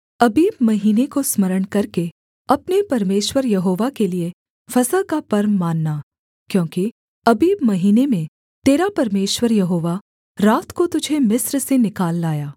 अबीब महीने को स्मरण करके अपने परमेश्वर यहोवा के लिये फसह का पर्व मानना क्योंकि अबीब महीने में तेरा परमेश्वर यहोवा रात को तुझे मिस्र से निकाल लाया